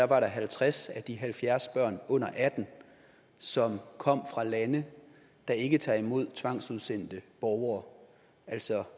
var halvtreds af de halvfjerds børn der under atten år som kom fra lande der ikke tager imod tvangsudsendte borgere altså